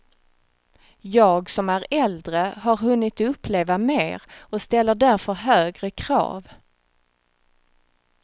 Jag som är äldre har hunnit uppleva mer, och ställer därför högre krav.